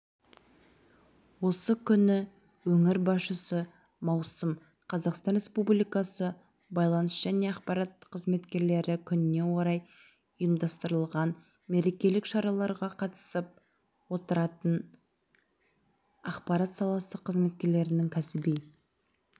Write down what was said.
осы күні өңір басшысы маусым қазақстан республикасы байланыс және ақпарат қызметкерлері күніне орай ұйымдастырылған мерекелік шараға қатысып ақпарат саласы қызметкерлерінің кәсіби